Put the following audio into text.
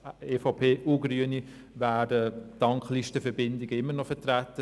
EVP und Grüne wären dank Listenverbindungen immer noch vertreten.